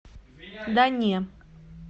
да не